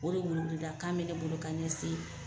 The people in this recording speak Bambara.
O de wele wele da kan ne bolo k'a ɲɛsin